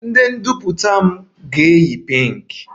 My asoebi ga-pink